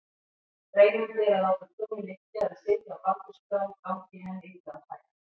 Reynandi er að láta konu liggja eða sitja á baldursbrá gangi henni illa að fæða.